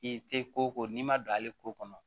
I tɛ ko ko n'i ma don ale ko kɔnɔ